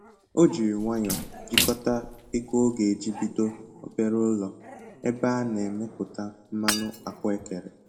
O jiri nwayọ jikọta ego ọ ga-eji bido obere ụlọ ebe a na emepụta mmanụ ahụekere